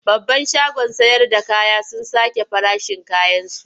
Babban shagon sayarda kaya sun sake farashin kayansu.